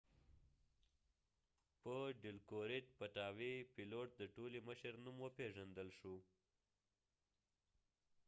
پیلوت د ټولې مشر dilokrit pattavee په نوم پیژندل شوی